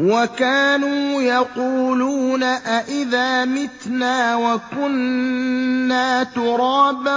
وَكَانُوا يَقُولُونَ أَئِذَا مِتْنَا وَكُنَّا تُرَابًا